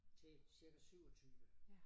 Til cirka 27